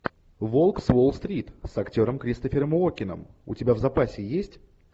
волк с уолл стрит с актером кристофером уокеном у тебя в запасе есть